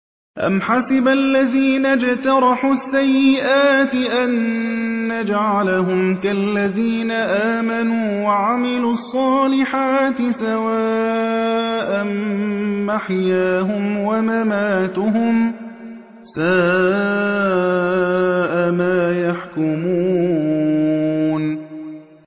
أَمْ حَسِبَ الَّذِينَ اجْتَرَحُوا السَّيِّئَاتِ أَن نَّجْعَلَهُمْ كَالَّذِينَ آمَنُوا وَعَمِلُوا الصَّالِحَاتِ سَوَاءً مَّحْيَاهُمْ وَمَمَاتُهُمْ ۚ سَاءَ مَا يَحْكُمُونَ